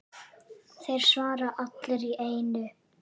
Þeir svara allir í einu.